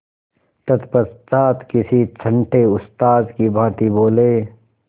तत्पश्चात किसी छंटे उस्ताद की भांति बोले